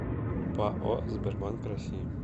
пао сбербанк россии